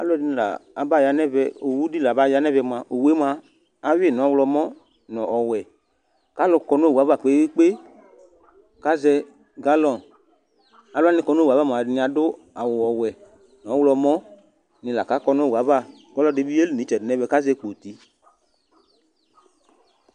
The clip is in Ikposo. Alʋɛdìní la aba ya nʋ ɛvɛ Owu di la aba ya nʋ ɛvɛ mʋa awi nʋ ɔwlɔmɔ nʋ ɔwɛ kʋ alu kɔ nʋ owu ava kpe kpe kpe kʋ azɛ galone Alu wani kɔ nʋ owu ava mʋ ɛdiní adʋ ɔwɛ nʋ ɔwlɔmɔ ni la kʋ akɔ nʋ owu ava kʋ alʋɛdì bi yeli nʋ itsɛdi nʋ ɛmɛ kʋ azɛ kpoti